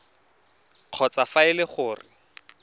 kgotsa fa e le gore